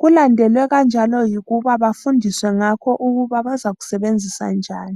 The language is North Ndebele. Kulandelwe kanjalo yikuba bafundiswe ngakho ukuba bazakusebenzisa njani.